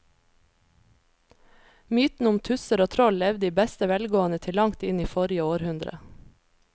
Mytene om tusser og troll levde i beste velgående til langt inn i forrige århundre.